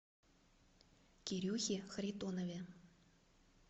кирюхе харитонове